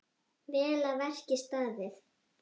Vel að verki staðið!